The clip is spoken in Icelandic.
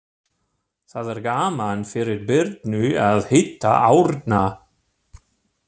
Það er gaman fyrir Birnu að hitta Árna.